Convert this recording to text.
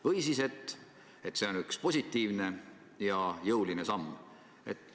Või siis seisukoht, et see on üks positiivne ja jõuline samm.